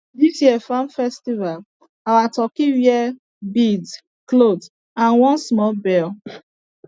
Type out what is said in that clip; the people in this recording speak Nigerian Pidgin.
this year farm festival our turkey wear beads cloth and one small bell